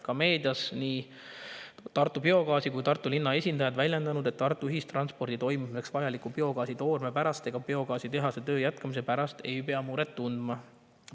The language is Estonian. Ka meedias on nii Tartu Biogaasi kui ka Tartu linna esindajad väljendanud, et Tartu ühistranspordi toimimiseks vajaliku biogaasi toorme ega biogaasitehase töö jätkumise pärast ei pea muret tundma.